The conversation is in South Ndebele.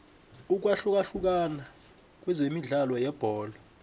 ukwahlukahlukana kwemidlalo yebholo